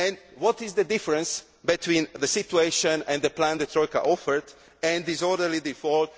What is the difference between the situation and the plan the Troika offered and disorderly default?